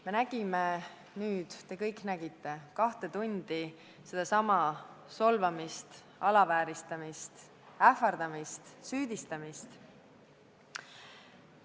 Me nägime ja te kõik nägite nüüd kaks tundi sedasama solvamist, alavääristamist, ähvardamist, süüdistamist.